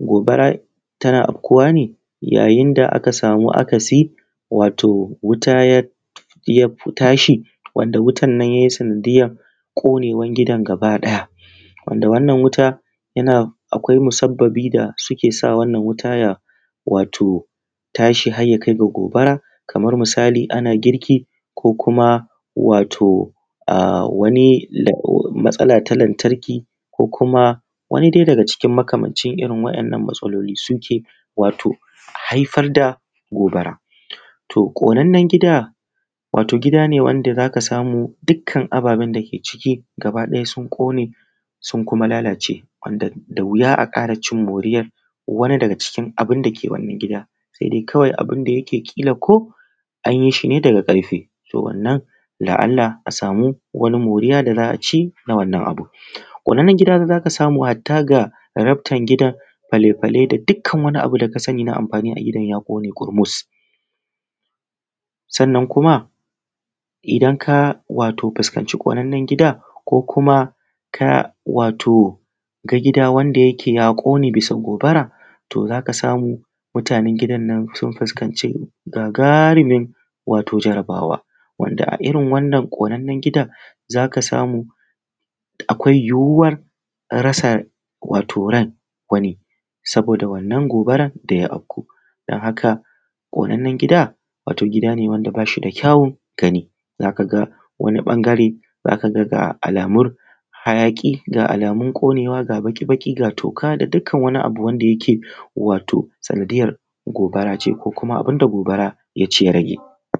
Gobara tana afkuwa ne yayin da aka sama akasi wato wuta ya tashi, wanda wutan nan yayi sanadiyan ƙonewan gidan gaba ɗaya. Wanda wannan wuta yana akwai musabbabi da suke da wannan wuta ya wato tashi hayya kai ga gobara, kamar musali ana girki ko kuma wato um wani matsala ta lantarki, ko kuma wani dai daga cikin makamancin irin waƴannan matsaloli, su ke wato haifar da gobara. Toh, ƙonannen gida, wato gida ne wanda za ka samu dukkan ababen da ke ciki gaba ɗaya sun ƙone, sun kuma lalace, wanda da wuya a ƙara cin moriyar wani daga cikin abunda ke wannan gida, se dai kawai abunda yake ƙila ko anyi shi ne daga ƙarfe, toh, wannan la'alla a samu wani moriya da za'a ci na wannan abun. Ƙonannan gida za ka samu hatta ga raftan gidan, fale-fale da dukkan wani abu da ka sani na amfani a gidan ya ƙone ƙurmus. Sannan kuma idan ka wato fuskanci ƙonannan gida, ko kuma ka wato ga gida wanda yake ya ƙone bisa gobara, toh, za ka samu mutanen gidan nan sun fuskanci gagaarumin wato jarabawa. Wanda a irin wannan ƙonannan gidan za ka samu akwai yiwuwar rasa wato ran wani, saboda wannan gobaran da ya afku. Dan haka ƙonannan gida, wato gida ne wanda ba shi da kyawun gani, za kaga wani ɓangare za kaga ga alamun hayaƙi, ga alamun ƙonewa ga baƙi-baƙi ga toka da dukkan wani abu wanda yake wato sanadiyar gobara ce, ko kuma abun da gobara ya ci ya rage.